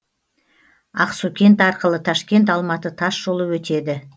ақсукент арқылы ташкент алматы тас жолы өтеді